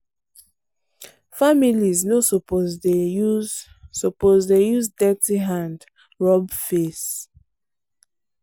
families no suppose dey use suppose dey use dirty hand rub face.